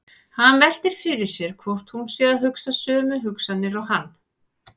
Hann veltir fyrir sér hvort hún sé að hugsa sömu hugsanir og hann.